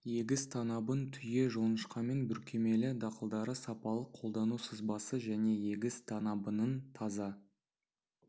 егіс танабын түйе жоңышқамен бүркемелі дақылдары сапалы қолдану сызбасы және егіс танабының таза